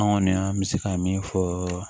An kɔni an bɛ se ka min fɔ